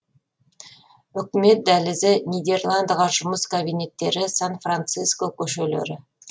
үкімет дәлізі нидерландыдағы жұмыс кабинеттері сан франциско көшелері